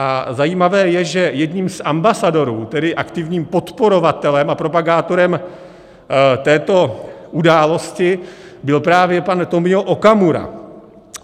A zajímavé je, že jedním z ambasadorů, tedy aktivním podporovatelem a propagátorem této události, byl právě pan Tomio Okamura.